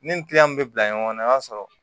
Ni min bɛ bila ɲɔgɔn na i b'a sɔrɔ